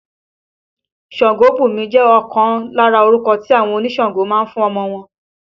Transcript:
Sangobunmi jẹ ọkan lára orúkọ tí àwọn onísàǹgó ń fún ọmọ wọn